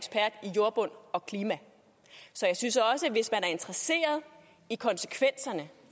jordbund og klima så jeg synes også at hvis man er interesseret i konsekvenserne